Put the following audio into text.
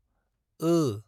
ओ